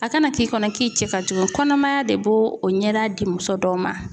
A kana k'i kɔnɔ k'i cɛ ka jugu kɔnɔmaya de b'o o ɲɛda di muso dɔw ma.